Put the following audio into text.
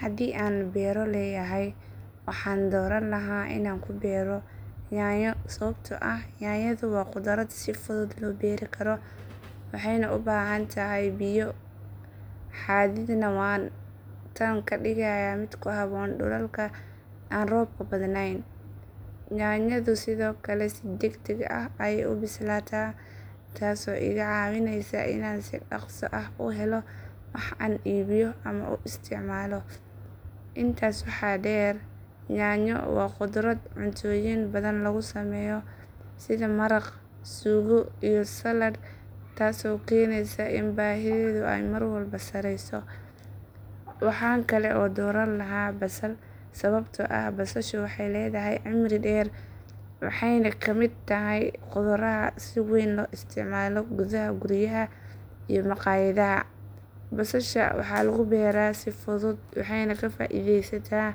Haddii aan beerto leeyahay, waxaan dooran lahaa inaan ku beero yaanyo sababtoo ah yaanyadu waa khudrad si fudud loo beeri karo waxayna u baahan tahay biyo xadidan waana tan ka dhigaysa mid ku habboon dhulalka aan roobka badnayn. Yaanyadu sidoo kale si degdeg ah ayay u bislaataa taasoo iga caawinaysa inaan si dhaqso ah u helo wax aan iibiyo ama u isticmaalo. Intaas waxaa dheer, yaanyo waa khudrad cuntooyin badan lagu sameeyo sida maraq, suugo iyo saladh taasoo keenaysa in baahideedu ay mar walba sareeyso. Waxaan kale oo dooran lahaa basal sababtoo ah basashu waxay leedahay cimri dheer waxeyna ka mid tahay khudradaha si weyn loo isticmaalo gudaha guryaha iyo makhaayadaha. Basasha waxaa lagu beeraa si fudud waxeyna ka faa'iidaysataa